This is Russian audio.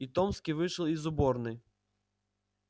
и томский вышел из уборной